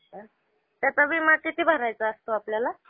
अच्छा. त्याचा विमा किती भरायचा असतो आपल्याला?